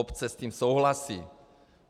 Obce s tím souhlasí.